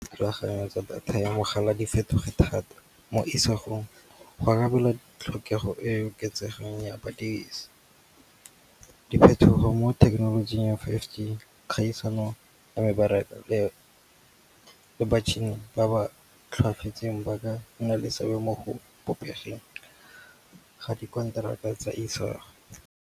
Go rulagantsha data ya mogala di fetoge thata mo isagong. Go arabela tlhokego e e oketsegang ya badirisi. Diphetogo mo thekenolojing ya five G, kgaisano ba ka nna le seabe mo go ga di konteraka ka Isago.